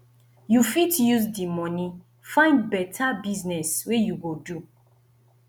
you fit use di moni find beta business wey you go do